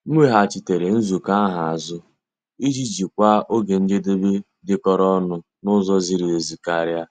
M weghachitere nzukọ ahụ azụ iji jikwaa oge njedebe dịkọrọ onụ n'ụzọ ziri ezi karịa.